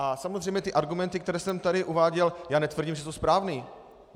A samozřejmě ty argumenty, které jsem tady uváděl, já netvrdím, že jsou správné.